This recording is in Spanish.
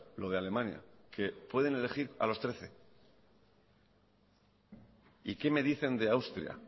lo de alemania que pueden elegir a los trece y qué me dicen de austria